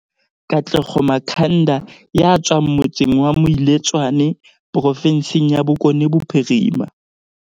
Katlego Makhanda ya tswang motseng wa Moiletswane provinseng ya Bokone Bophirima